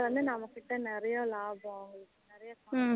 இப்போ வந்து நம்மக்கிட்ட நிறைய லாபம்